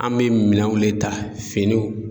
An bɛ minɛnw de ta, finiw.